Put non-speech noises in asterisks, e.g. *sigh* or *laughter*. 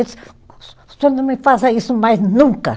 *unintelligible* o senhor não me faça isso mais nunca.